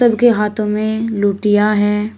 उनके हाथों में लुटिया है।